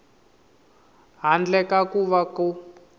handle ka ku va ku